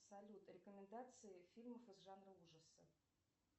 салют рекомендации фильмов из жанра ужасы